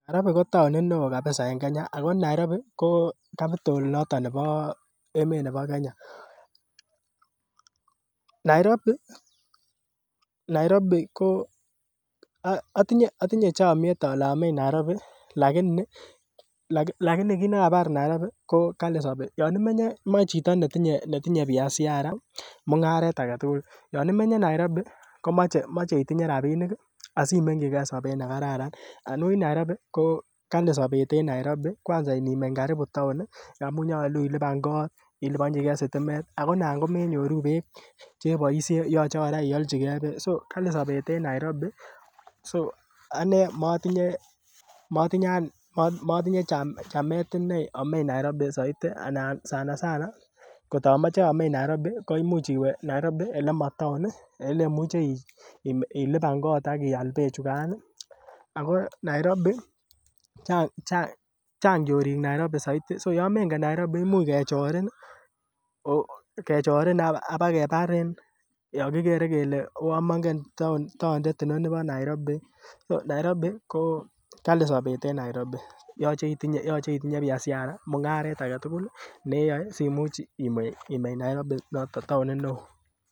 Nairobi ko taonit neoo kabisa en Kenya ako Nairobi ko capital noton nebo emet nebo Kenya, Nairobi Nairobi ko otinye chomyet ole ameny Nairobi lakini lakini kit nekabar Nairobi ko kali sobet yon imenye moe chito netinye biashara mung'aret aketugul yon imenye Nairobi komoche itinye rapinik ih asimengkyi gee sobet nekararan anibuch Nairobi ko kali sobet en Nairobi kwanza inineny karibu town amun nyolu ilipan kot iliponjigee sitimet ako nan komenyoruu beek cheboisien yoche kora iochigee so kali sobet en Nairobi so anee motinye chamet inei omeny Nairobi soiti anan sana sana kotamoche ameny Nairobi ko imuch iwe Nairobi ekemotaon ih elemuche ilipan kot ak ial beek chukan ako Nairobi chang chorik Nairobi soiti so yon mengen Nairobi imuch kechorin ih, kechorin ak bakebarin yon kikere kele uon mongen tondet inoni bo Nairobi. Nairobi ko kali sobet en Nairobi yoche itinye biashara mung'aret aketugul neyoe simuch imeny Nairobi noton taonit neoo